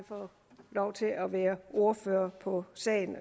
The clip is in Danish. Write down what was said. fået lov til at være ordfører på sagen